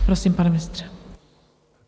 Prosím, pane ministře.